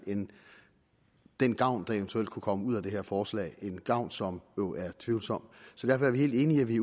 end den gavn der eventuelt kunne komme ud af det her forslag en gavn som jo er tvivlsom så derfor er vi helt enige i at vi